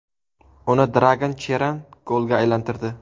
Uni Dragan Cheran golga aylantirdi.